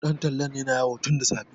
ɗan tallan yana yawo tun da safe